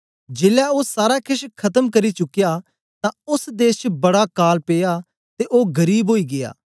जेलै ओ सारा केछ खत्म करी चुकया तां ओस देश च बड़ा काल पिया ते ओ गरीब ओई गीया